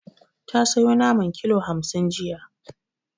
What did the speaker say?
Ta sayo naman kilo hamsin jiya.